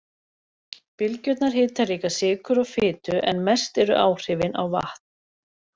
Bylgjurnar hita líka sykur og fitu en mest eru áhrifin á vatn.